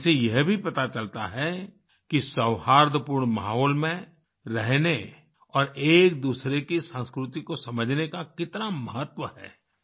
इनसे यह भी पता चलता है कि सौहार्दपूर्ण माहौल में रहने और एकदूसरे की संस्कृति को समझने का कितना महत्व है